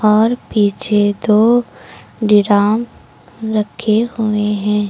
और पीछे दो डिराम रखे हुए हैं।